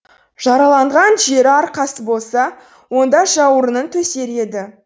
жараланған жері арқасы болса онда жауырынын төсер еді